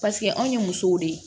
Paseke anw ye musow de ye